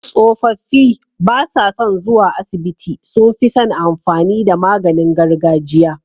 Tsofaffi basa son zuwa asibiti sunfison amfani da maganin gargajiya